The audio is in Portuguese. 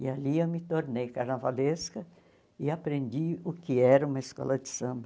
E ali eu me tornei carnavalesca e aprendi o que era uma escola de samba.